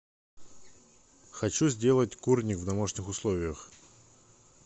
хочу сделать курник в домашних условиях